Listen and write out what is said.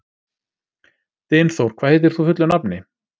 Dynþór, hvað heitir þú fullu nafni?